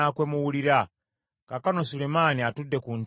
Kaakano Sulemaani atudde ku ntebe ey’obwakabaka.